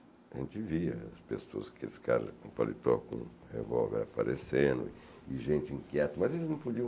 A gente via as pessoas, aqueles caras com paletó, com revólver aparecendo, e gente inquieta, mas eles não podiam...